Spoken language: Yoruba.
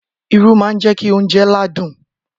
Irú má ń jẹ́kí oúnjẹ ládùn.